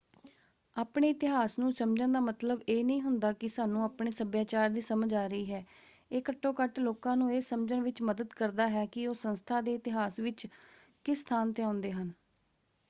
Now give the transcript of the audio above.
ਆਪਣੇ ਇਤਿਹਾਸ ਨੂੰ ਸਮਝਣ ਦਾ ਮਤਲਬ ਇਹ ਨਹੀਂ ਹੁੰਦਾ ਕਿ ਸਾਨੂੰ ਆਪਣੇ ਸਭਿਆਚਾਰ ਦੀ ਸਮਝ ਆ ਰਹੀ ਹੈ ਇਹ ਘੱਟੋ ਘੱਟ ਲੋਕਾਂ ਨੂੰ ਇਹ ਸਮਝਣ ਵਿੱਚ ਮਦਦ ਕਰਦਾ ਹੈ ਕਿ ਉਹ ਸੰਸਥਾ ਦੇ ਇਤਿਹਾਸ ਵਿੱਚ ਕਿਸ ਸਥਾਨ 'ਤੇ ਆਉਂਦੇ ਹਨ।